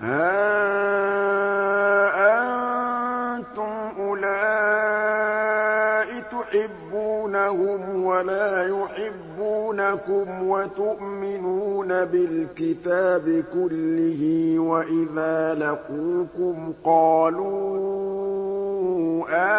هَا أَنتُمْ أُولَاءِ تُحِبُّونَهُمْ وَلَا يُحِبُّونَكُمْ وَتُؤْمِنُونَ بِالْكِتَابِ كُلِّهِ وَإِذَا لَقُوكُمْ قَالُوا